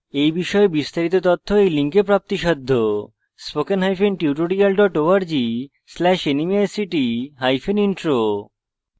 এই বিষয়ে বিস্তারিত তথ্য এই লিঙ্কে প্রাপ্তিসাধ্য